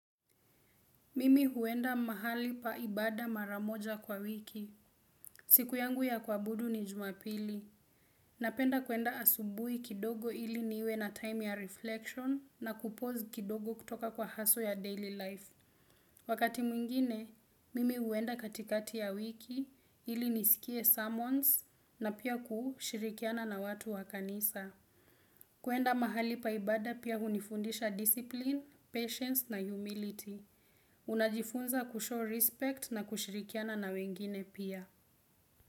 Mimi huenda mahali paibada maramoja kwa wiki. Siku yangu ya kwabudu ni jumapili. Napenda kuenda asubui kidogo ili niwe na time ya reflection na kupozi kidogo kutoka kwa haso ya daily life. Wakati mwingine, mimi huenda katikati ya wiki ili nisikie summons na pia kushirikiana na watu wa kanisa. Kuenda mahali paibada pia hunifundisha discipline, patience na humility. Unajifunza kushore respect na kushirikiana na wengine pia.